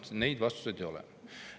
Neid vastuseid ei ole.